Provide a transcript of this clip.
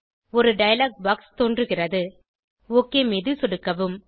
ஒரு dialogue box தோன்றுகிறது OK மீது சொடுக்கவும்